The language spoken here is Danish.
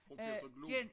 Professor Glob